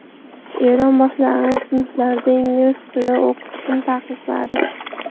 Eron boshlang‘ich sinflarda ingliz tili o‘qitishni taqiqladi.